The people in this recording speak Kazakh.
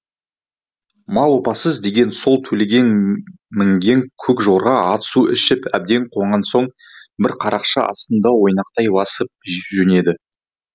мал опасыз деген сол төлеген мінген көк жорға ат су ішіп әбден қанған соң бір қарақшы астында ойнақтай басып жөнеді